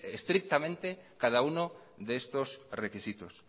estrictamente cada uno de estos requisitos